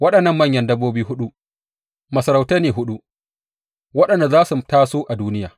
Waɗannan manyan dabbobi huɗu, Masarautai ne huɗu waɗanda za su taso a duniya.